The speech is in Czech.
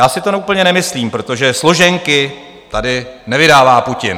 Já si to úplně nemyslím, protože složenky tady nevydává Putin.